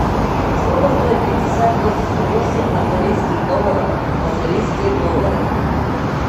сколько стоит пятьдесят восемь австралийских долларов в австралийские доллары